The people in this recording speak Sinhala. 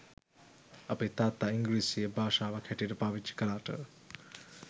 අපේ තාත්තා ඉංග්‍රිසිය භාෂාවක් හැටියට පාවිච්චි කළාට